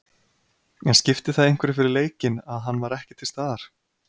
En skipti það einhverju fyrir leikinn að hann var ekki til staðar?